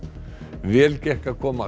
vel gekk að koma